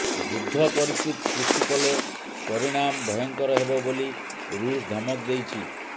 ଯୁଦ୍ଧ ପରିସ୍ଥିତି ସୃଷ୍ଟି କଲେ ପରିଣାମ ଭୟଙ୍କର ହେବ ବୋଲି ଋଷ ଧମକ ଦେଇଛି